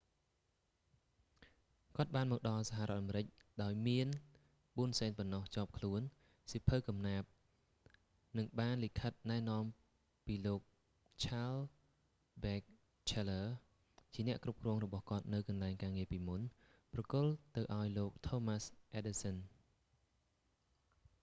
គាត់បានមកដល់សហរដ្ឋអាមេរិកដោយមាន 4 សេនប៉ុណ្ណោះជាប់ខ្លួន សៀវភៅកំណាព្យ និងបានលិខិតណែនាំពីលោកឆាលស៍ ប៊ែចឈែលលើរ charles batchelor ជាអ្នកគ្រប់គ្រងរបស់គាត់នៅកន្លែងការងារពីមុន ប្រគល់ទៅឲ្យលោកថូមាស់ អ៊ែដឌិសសឹន thomas edison